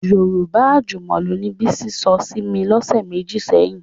Yorùbá àjùmọ̀lò ni Bísí sọ sí mi lọ́sẹ̀ méjì sẹ́yìn